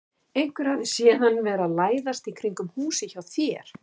Einhver hafði séð hann vera að læðast í kringum húsið hjá þér.